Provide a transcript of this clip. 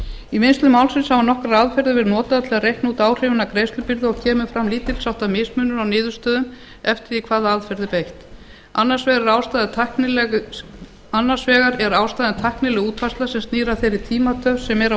í vinnslu málsins hafa nokkrar aðferðir verið notaðar til að reikna út áhrifin af greiðslubyrði og kemur fram lítilsháttar mismunur á niðurstöðum eftir því hvaða aðferð er beitt annars vegar er ástæðan tæknileg útfærsla sem snýr að þeirri tímatöf sem er á